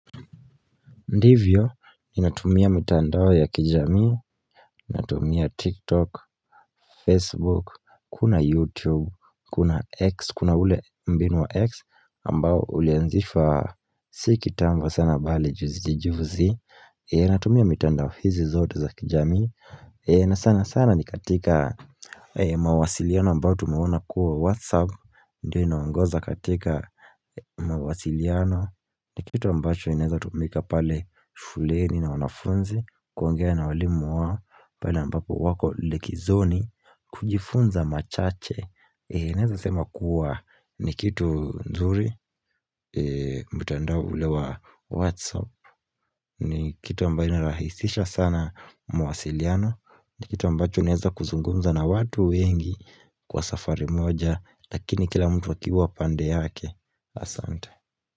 Ndivyo, ninatumia mitandao ya kijamii, ninatumia TikTok, Facebook, kuna YouTube, kuna X, kuna ule mbinu wa X ambao ulianzishwa si kitambo sana bali juzi juzi ninatumia mitandao hizi zote za kijamii, na sana sana ni katika mawasiliano ambao tumeona kuwa WhatsApp ndiyo inaongoza katika mawasiliano ni kitu ambacho kinaweza tumika pale shuleni na wanafunzi kuongea na walimu wao pale ambapo wako likizoni kujifunza machache Naweza sema kuwa ni kitu nzuri mtandao ule wa Whatsapp ni kitu ambayo inarahisisha sana mwasiliano ni kitu ambacho unaeza kuzungumza na watu wengi Kwa safari moja Lakini kila mtu akiwa pande yake asante.